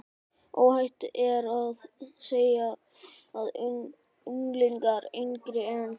Óhætt er að segja að unglingar yngri en